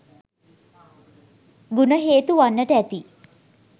ගුණ හේතු වන්නට ඇති.